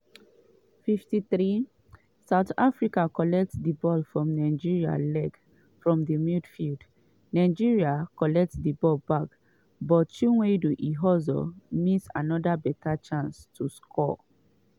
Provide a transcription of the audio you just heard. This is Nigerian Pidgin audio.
53' south africa collect ball from nigeria leg from di midfield nigeria collect di ball back but chiwendu ihezuo miss anoda beta chance to score.